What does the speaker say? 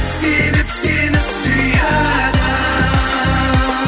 себеп сені сүйеді